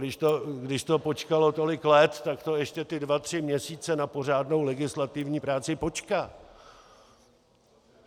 Když to počkalo tolik let, tak to ještě ty dva tři měsíce na pořádnou legislativní práci počká.